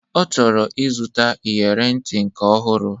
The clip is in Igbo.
Ọ chọrọ ịzụta iyere ntị nke ọhụrụ